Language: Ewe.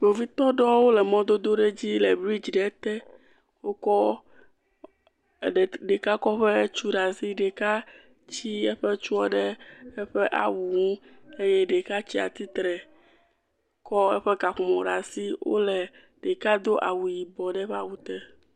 Kpovitɔ aɖewo le mɔdodo aɖe dzi le bridzi ɖe te. Wokɔ ɖeka kɔ eƒe tu ɖe asi, ɖeka tsi eƒe tu ɖe eƒe awu ŋu eye ɖeka tsatsitre kɔ eƒe kaƒomɔ ɖe asi. Wole , ɖeka do awu yibɔ ɖe eƒe awu te.